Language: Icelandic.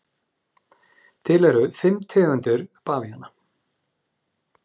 Til eru fimm tegundir bavíana.